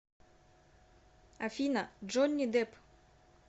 афина джонни дэпп